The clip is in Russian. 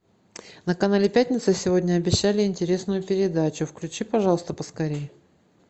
на канале пятница сегодня обещали интересную передачу включи пожалуйста поскорее